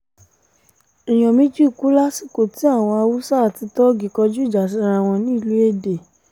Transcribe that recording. èèyàn méjì kú lásìkò tí àwọn haúsá àti tóógì kọjú ìjà síra wọn nílùú èdè